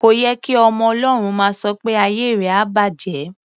Kò ye kí ọmọ Ọlọ́run máa sọ pé "ayé rẹ á bàjẹ́".